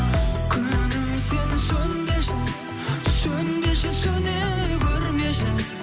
күнім сен сөнбеші сөнбеші сөне көрмеші